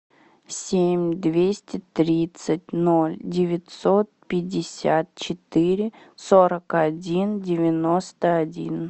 семь двести тридцать ноль девятьсот пятьдесят четыре сорок один девяносто один